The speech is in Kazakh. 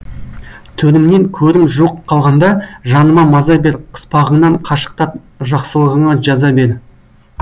төрімнен көрім жуық қалғанда жаныма маза бер қыспағыңнан қашықтат жақсылығыңа жаза бер